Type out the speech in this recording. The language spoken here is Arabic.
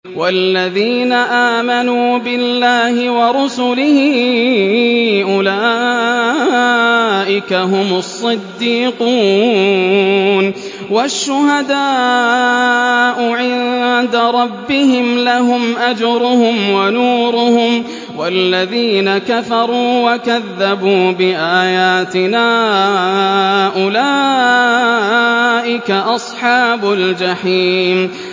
وَالَّذِينَ آمَنُوا بِاللَّهِ وَرُسُلِهِ أُولَٰئِكَ هُمُ الصِّدِّيقُونَ ۖ وَالشُّهَدَاءُ عِندَ رَبِّهِمْ لَهُمْ أَجْرُهُمْ وَنُورُهُمْ ۖ وَالَّذِينَ كَفَرُوا وَكَذَّبُوا بِآيَاتِنَا أُولَٰئِكَ أَصْحَابُ الْجَحِيمِ